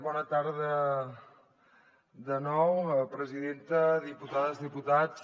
bona tarda de nou presidenta diputades diputats